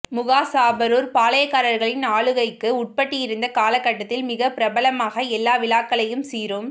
முகாசாபரூர் பாளையக்காரர்களின் ஆளுகைக்கு உட்பட்டிருந்த காலக் கட்டத்தில் மிக பிரபலமாக எல்லா விழாக்களையும் சீரும்